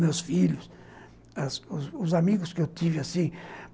Meus filhos, as os os amigos que eu tive assim.